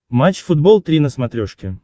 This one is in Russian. матч футбол три на смотрешке